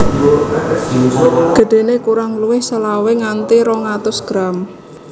Gedhéné kurang luwih selawe nganti rong atus gram